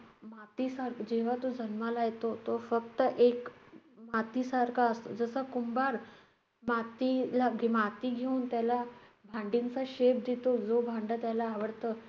मातीसा~ जेव्हा तो जन्माला येतो, तो फक्त एक मातीसारखा असतो. जसा कुंभार मातीला~ घ~ माती घेऊन त्याला भांड्यांचा shape देतो, जो भांडं त्याला आवडतं,